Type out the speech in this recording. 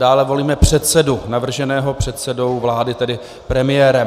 Dále volíme předsedu navrženého předsedou vlády, tedy premiérem.